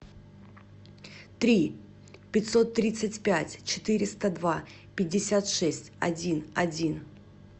три пятьсот тридцать пять четыреста два пятьдесят шесть один один